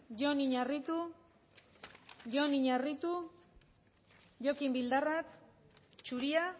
jon iñarritu jon iñarritu jokin bildarratz zuria